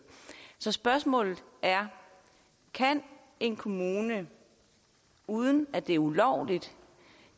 så spørgsmålet er kan en kommune uden at det er ulovligt